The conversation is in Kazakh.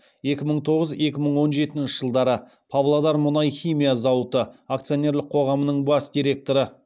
екі мың тоғыз екі мың он жетінші жылдары павлодар мұнай химия зауыты акционерлік қоғамының бас директоры